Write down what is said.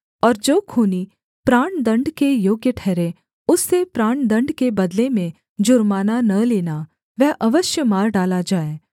और जो खूनी प्राणदण्ड के योग्य ठहरे उससे प्राणदण्ड के बदले में जुर्माना न लेना वह अवश्य मार डाला जाए